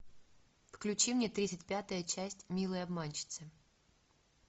включи мне тридцать пятая часть милые обманщицы